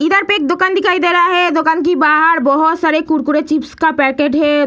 इधर पे एक दुकान दिखाई दे रहा है दुकान की बहार बहोत सारे कुरकुरे चिप्स का पैकेट है।